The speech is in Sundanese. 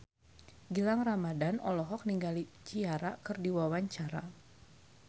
Gilang Ramadan olohok ningali Ciara keur diwawancara